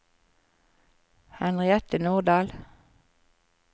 Henriette Nordal